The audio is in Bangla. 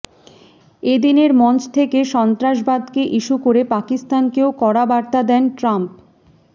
এদিনের মঞ্চ থেকে সন্ত্রাসবাদকে ইস্যু করে পাকিস্তানকেও কড়া বার্তা দেন ট্রাম্প